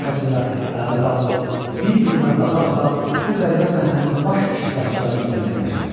içərisində ayağa qalxıb, bir-birinə baxa-baxa bu qəribə səhnənin baş iştirakçılarını izləməyə başladılar.